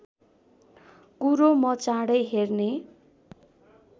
कुरो म चाँडै हेर्ने